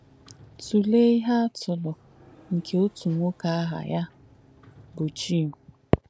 Tùleé íhe àtùlù nkè òtù nwọ́kè àhà yà bù Jìm.